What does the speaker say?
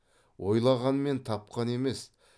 ойланғанмен тапқан емес